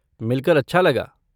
मिलकर अच्छा लगा।